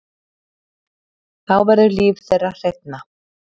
Þá verður líf þeirra hreinna.